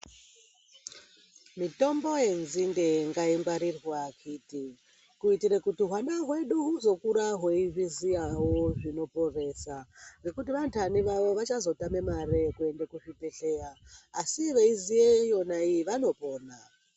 Mitombo yenzinde ngaingwarirwa kuite kuitira kuti hwana hwedu huzokura hweizviziyavo zvinoporesa. Ngekuti vandani vavo vasazotame mare yekuende kuzvibhedhleya, asi veiziya yonaiyi vanopona.